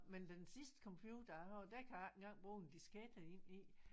Men den sidste computer jeg har den kan jeg ikke engang bruge en diskette ind i